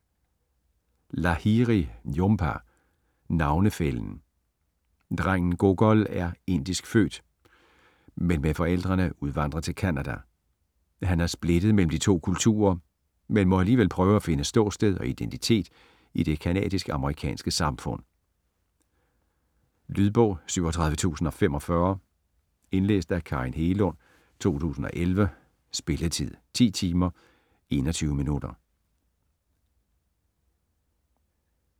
Lahiri, Jhumpa: Navnefællen Drengen Gogol er indisk født, men med forældrene udvandret til Canada. Han er splittet mellem de to kulturer, men må alligevel prøve at finde ståsted og identitet i det canadisk/amerikanske samfund. Lydbog 37045 Indlæst af Karin Hegelund, 2011. Spilletid: 10 timer, 21 minutter.